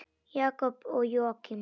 Jakob og Jóakim.